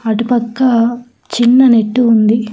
అటు పక్క చిన్న నెట్టు ఉంది.